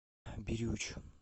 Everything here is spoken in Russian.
бирюч